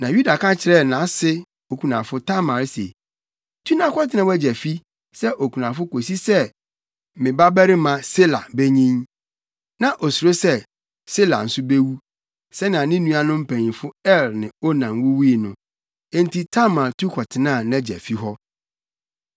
Na Yuda ka kyerɛɛ nʼase okunafo Tamar se, “Tu na kɔtena wʼagya fi sɛ okunafo kosi sɛ me babarima Sala benyin.” Na osuro sɛ, Sela nso bewu, sɛnea ne nuanom mpanyimfo Er ne Onan wuwui no. Enti Tamar tu kɔtenaa nʼagya fi hɔ.